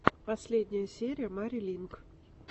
последняя серия мари линк